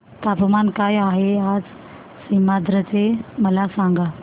तापमान काय आहे आज सीमांध्र चे मला सांगा